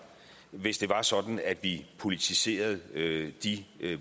hvis det var sådan at vi politiserede de